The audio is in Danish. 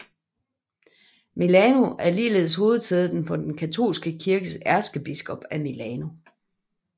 Milano er ligeledes hovedsædet for den katolske kirkes ærkebiskop af Milano